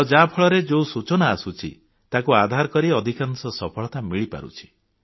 ଆଉ ୟା ଫଳରେ ଯୋଉ ସୂଚନା ଆସୁଛି ତାକୁ ଆଧାର କରି ଅଧିକାଂଶ ସଫଳତା ମିଳିପାରୁଛି